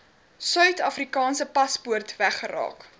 suidafrikaanse paspoort weggeraak